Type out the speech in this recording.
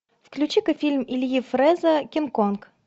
включи ка фильм ильи фреза кинг конг